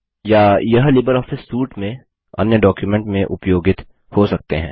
या Libre office suite में अन्य डॉक्युमेंट में उपयोगित हो सकते हैं